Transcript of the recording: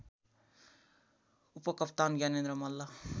उपकप्तान Gyanendra Malla